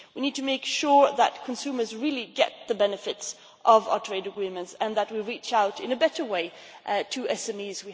We need to make sure that consumers really get the benefits of our trade agreements and that we reach out in a better way to SMEs.